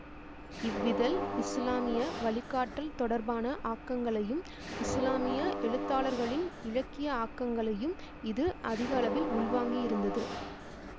இவ்விதழ் இசுலாமிய வழிகாட்டல் தொடர்பான ஆக்கங்களையும் இசுலாமிய எழுத்தாளர்களின் இலக்கிய ஆக்கங்களையும் இது அதிகளவில் உள்வாங்கியிருந்தது